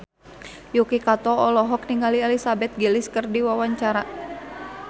Yuki Kato olohok ningali Elizabeth Gillies keur diwawancara